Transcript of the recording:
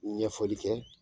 Ɲɛfɔli kɛ